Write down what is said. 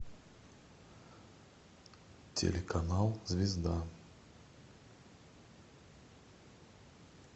телеканал звезда